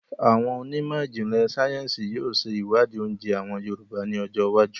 Àwọn onímọ̀jìnlẹ̀ sayẹ́nsi yìí ó ṣe iwadi oúnjẹ àwọn Yorùbá ni ọjọ́ iwájú